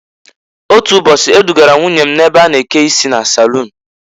Otu ụbọchị e dụgara m nwunye m na-ebe a na-eke isi a na a-salun.